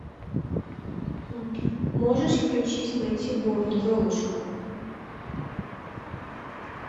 можешь включить мэтью борн золушка